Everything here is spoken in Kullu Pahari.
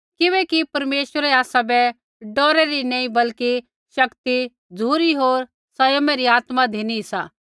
किबैकि परमेश्वरै आसाबै डौरै री नी बल्कि शक्ति झ़ुरी होर सँयमा री आत्मा धिनी सा